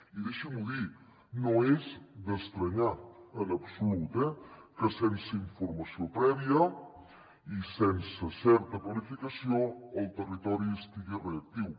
i deixin m’ho dir no és estrany en absolut eh que sense informació prèvia i sense certa planificació el territori estigui reactiu